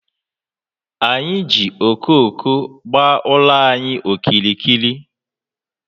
Anyị ji okooko gbaa ụlọ anyị okirikiri.